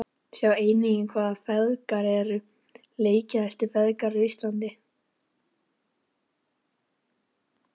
Sjá einnig: Hvaða feðgar eru leikjahæstu feðgar á Íslandi?